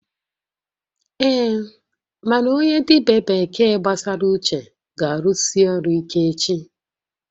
Ee, mana onye dibia bekee gbasara uche ga-arụsi ọrụ ike echi